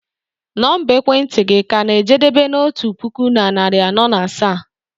Nọmba ekwentị gị ka na-ejedebe na otu puku na narị anọ na asaa?